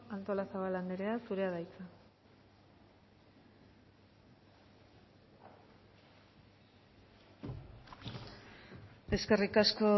artolazabal andrea zurea da hitza eskerrik asko